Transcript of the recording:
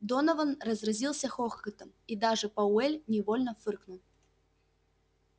донован разразился хохотом и даже пауэлл невольно фыркнул